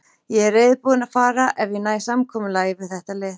Ég er reiðubúinn að fara ef ég næ samkomulagi við þetta lið.